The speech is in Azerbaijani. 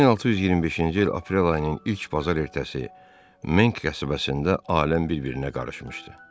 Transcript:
1625-ci il aprel ayının ilk bazar ertəsi Menk qəsəbəsində aləm bir-birinə qarışmışdı.